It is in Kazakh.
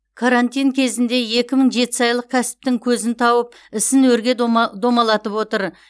карантин кезінде екі мың жетісайлық кәсіптің көзін тауып ісін өрге домалатып отыр